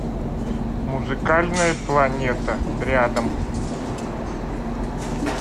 музыкальная планета рядом